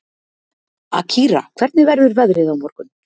Akira, hvernig verður veðrið á morgun?